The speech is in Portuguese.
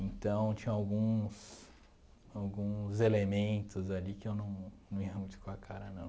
Então, tinham alguns alguns elementos ali que eu não não ia muito com a cara, não.